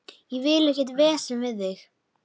Ég vil ekkert vesen við þig.